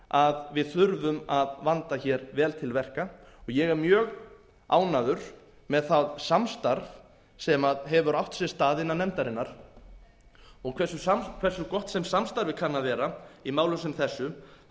að við þurfum að vanda hér vel til verka og ég er mjög ánægður með það samstarf sem hefur átt sér stað innan nefndarinnar en hversu gott sem samstarfið kann að vera í málum sem þessu þá leiðir það